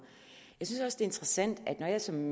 jeg synes interessant at når jeg som